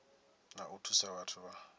na u thusa vhathu vha